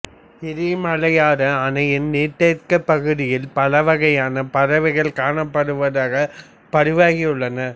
இடமலையாறு அணையின் நீர்த்தேக்க பகுதியில் பல வகையான பறவைகள் காணப்படுவதாக பதிவாகியுள்ளன